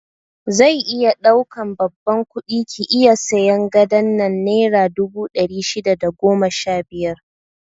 Zai iya ɗaukan babban kudi ki iya sayan gadon nan naira dubu ɗari shida da goma sha biyar